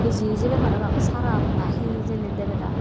kiji ejebe parapang saraf na he debeda.